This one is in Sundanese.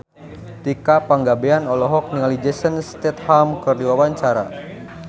Tika Pangabean olohok ningali Jason Statham keur diwawancara